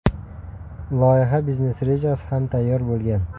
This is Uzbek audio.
Loyiha biznes-rejasi ham tayyor bo‘lgan.